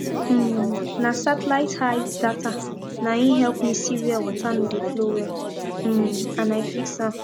um na satellite height data na im help me see where water no dey flow well um and i fix am